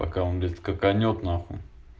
пока он блядь скаканет нахуй